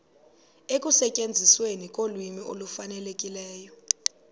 ekusetyenzisweni kolwimi olufanelekileyo